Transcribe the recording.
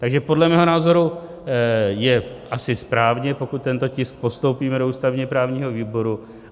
Takže podle mého názoru je asi správně, pokud tento tisk postoupíme do ústavně-právního výboru.